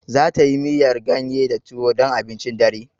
Zata yi miyar ganye da tuwo dan abincin dare.